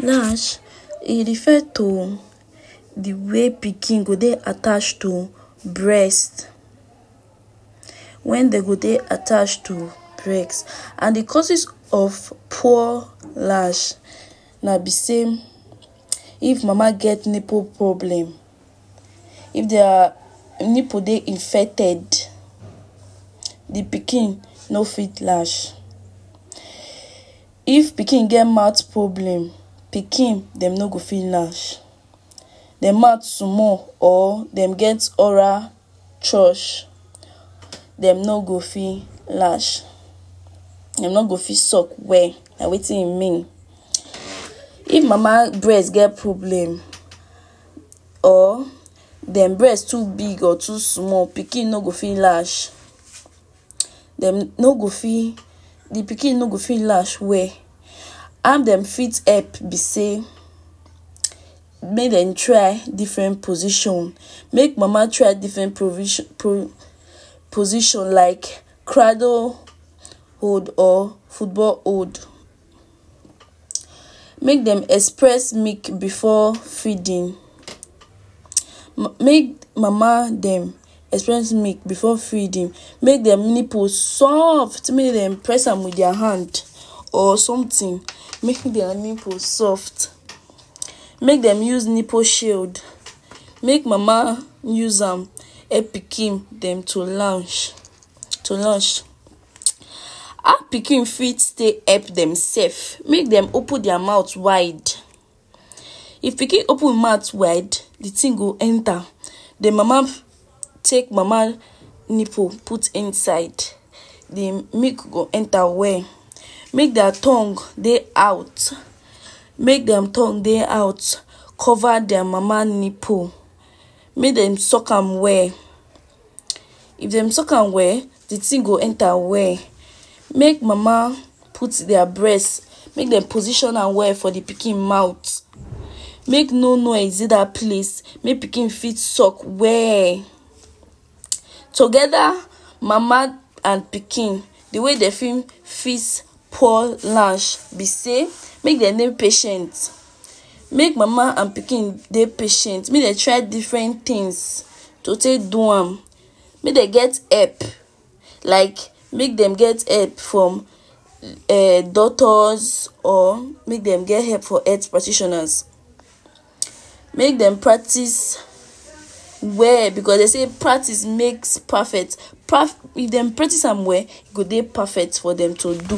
Latch, e refer to d way wey pikin go dey attached to breast wen dem go dey attached to breast, and d causes of poor latch na b sey, if mama get nipple problem, if dia nipple dey infected, d pikin no fit latch, if pikin get mouth problem, pikin dem no go fit latch, dem mouth spoil or dem get oral dem no go fit latch dem no go fit sulk well, na wetin e mean, if mama breast get problem or dem breast too big or too small, pikin no go fit latch dem no go fit d pikin no go fit latch well. How dem fit help b sey make dem try different position, make mama try different position like cradle hold or football hold, make dem express milk before feeding, make mama dem express milk before feeding, make dem nipple soft make dem dey press am with dia hand or something, make dia nipple soft, make dem use nipple shield, make mama use am help pikin dem to latch, how pikin fit take help em self? Make dem open dia mouth wide ,if pikin open hin mouth wide d tin go enta den mama, take mama nipple put inside, di milk go enta well, make dia tongue dey out, make dia tongue dey out cover dia mama nipple, make dem sulk am well, if dem sulk am well d thing go enta well, make mama put dia breast, make dey position am well for d pikin mouth, make no noise dey dat place make pikin fit sulk well, togeda mama and pikin d way dem fit fix poor latch b sey make dem dey patient, make mama and pikin dey patient, make dem try different things to take do am, make dem get help like make dem get help from um doctors or make dem get health from health practioners, make dem practice well because dem sey practice ,make perfect, if dem practice am well e go dey perfect for dem to do,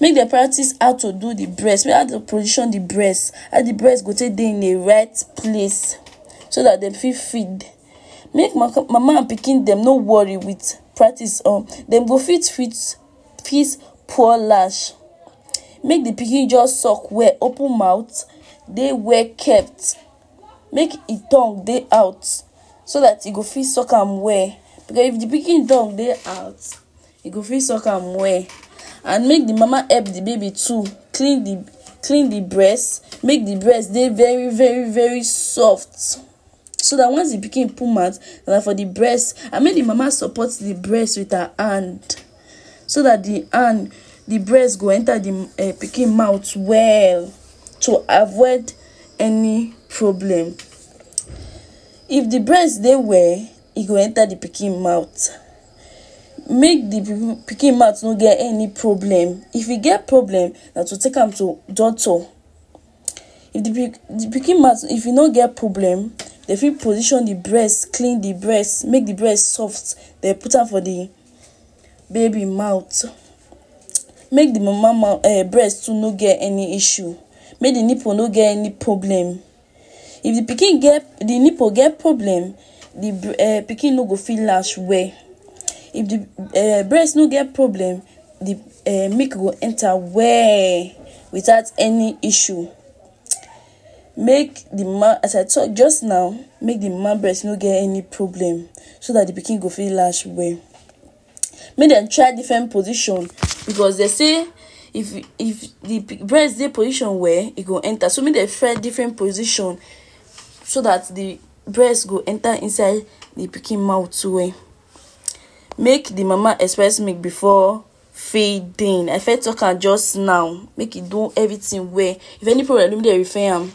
make dem practice how to do d breast, how to position d breast how d braest go take dey in a right place so dat dem fit feed, make mama and pikin dem no worry, dem go fit fix poor latch make d pikin sulk well, open mouth dey well kept, make hin tongue dey out so dat e go fit sulk am well, because if d pikin tongue dey out e go fit sulk am well, and make d mama help d baby too clean d clean d breast make d breast dey very very very soft, so dat once d pikin put mouth for d breast, and make d mama support d breast with her hand so dat d hand d breast go enta d um pikin mouth well, to avoid any problem, if d breast dey well e go enta d pikin mouth, make d pikin mouth no get any problem, if e get problem na to take am to doctor, if d pikin mouth if e no get problem, dem fit position d breast clean d breast make d breast soft den put am for d baby mouth, make d mama mouth breast too no get any issue make d nipple no get any problem if d pikin get d nipple get problem, d um pikin no go fit latch well, if d um breast no get problem d um milk go enta well without any issue, make d, as I talk jus now make d mama breast no get any problem so dat d pikin go fit latch well, make dem try differnet position, because dem sey if d breast dey position well e go enta, so make dem try different position, so dat d breast go enta inside d pikin mouth well, make d mama express milk before feeding, I first talk am jus now, make e do everything well, if any problem make dem refer am.